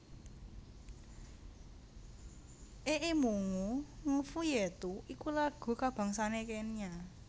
Ee Mungu Nguvu Yetu iku lagu kabangsané Kenya